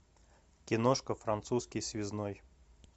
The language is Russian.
киношка французский связной